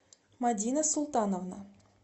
мадина султановна